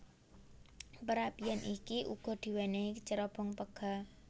Perapian iki uga diwénéhi cerobong pega